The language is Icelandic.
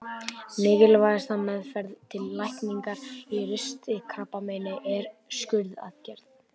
Mikilvægasta meðferðin til lækningar á ristilkrabbameini er skurðaðgerð.